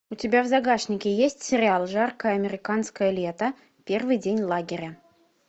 у тебя в загашнике есть сериал жаркое американское лето первый день лагеря